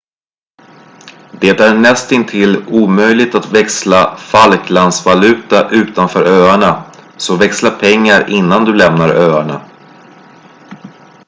det är nästintill omöjligt att växla falklandsvaluta utanför öarna så växla pengar innan du lämnar öarna